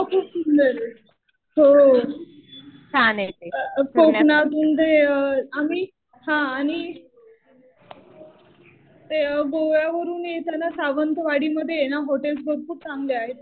गोवा खूप सुंदर आहे. हो. कोकणात आणि ते आम्ही हा आणि ते गोव्यावरून येताना सावंतवाडी मध्ये ना हॉटेल्स पण खूप चांगले आहेत.